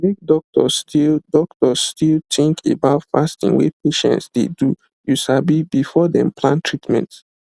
make doctors still doctors still think about fasting wey patient dey doyou sabi before dem plan treatment